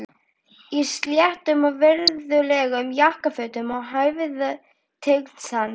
Í sléttum og virðulegum jakkafötum sem hæfðu tign hans.